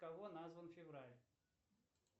в кого назван февраль